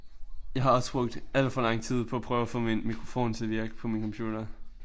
Jeg har også brugt alt for lang tid på at prøve at få min mikrofon til at virke på min computer